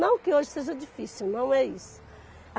Não que hoje seja difícil, não é isso.